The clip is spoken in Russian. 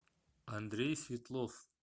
андрей светлов